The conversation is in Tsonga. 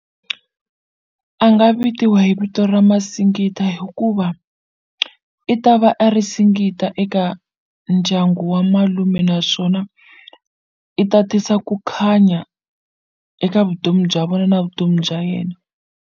A nga vitiwa hi vito ra Masingita hikuva i ta va a ri singita eka ndyangu wa malume naswona i ta tisa ku khanya eka vutomi bya vona na vutomi bya yena.